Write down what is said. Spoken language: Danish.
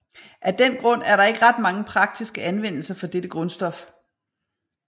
Af den grund er der ikke ret mange praktiske anvendelser for dette grundstof